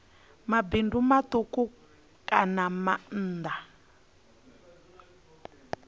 mabindu matuku kana maanda a